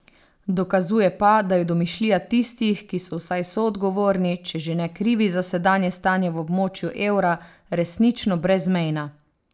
Dokazuje pa, da je domišljija tistih, ki so vsaj soodgovorni, če že ne krivi za sedanje stanje v območju evra, resnično brezmejna.